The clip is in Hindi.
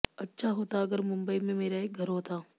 अच्छा होता अगर मुंबई में मेरा एक घर होता